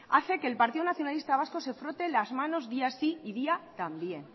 hace que el partido nacionalista vasco se frote las manos día sí y día también